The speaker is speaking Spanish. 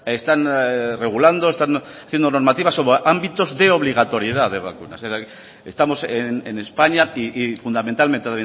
están regulando están haciendo una normativa sobre ámbitos de obligatoriedad de vacunas estamos en españa y fundamentalmente